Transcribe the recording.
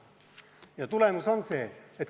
Ja tulemus on see.